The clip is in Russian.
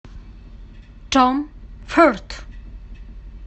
том форд